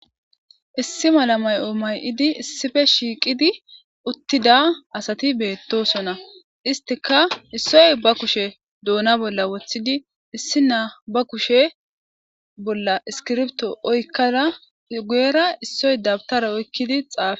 issi mala may7o may7idi issife shiiqidi uttida asati beettosona istika issoy ba kushe doona bolla woththidi issi naa ba kushe bolla iskirbto oykkada guyera issoy dabtara oykkidi xaafe